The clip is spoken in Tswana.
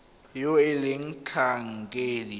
yo e leng motlhankedi yo